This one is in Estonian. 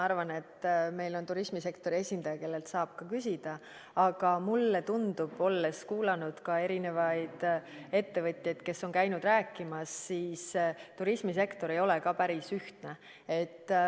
Meil on siin turismisektori esindaja, kellelt saab ka küsida, aga mulle tundub, olles kuulanud ka erinevaid ettevõtjaid, kes on käinud rääkimas, et turismisektor ei ole ka päris ühtne.